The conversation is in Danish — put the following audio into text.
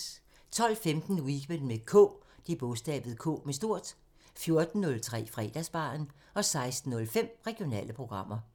12:15: Weekend med K 14:03: Fredagsbaren 16:05: Regionale programmer